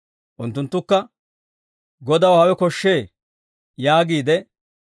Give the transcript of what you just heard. Unttunttukka, «Godaw hawe koshshee» yaagiide,